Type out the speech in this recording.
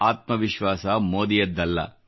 ಆತ್ಮ ವಿಶ್ವಾಸ ಮೋದಿಯದ್ದಲ್ಲ